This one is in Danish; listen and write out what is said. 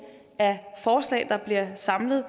af forslag der bliver samlet